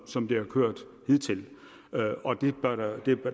som det har kørt hidtil og